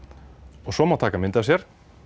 og svo má taka mynd af sér